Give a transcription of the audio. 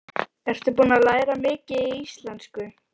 Ertu búin að læra mikið í íslensku?